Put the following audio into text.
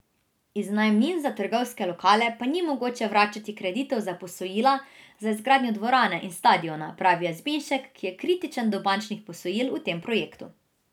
Iz najemnin za trgovske lokale pa ni mogoče vračati kreditov za posojila za izgradnjo dvorane in stadiona, pravi Jazbinšek, ki je kritičen do bančnih posojil v tem projektu.